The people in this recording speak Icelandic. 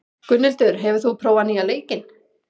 Gunnhildur, hefur þú prófað nýja leikinn?